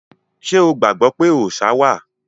Ṣé o gbàgbọ́ pé òòṣá wà?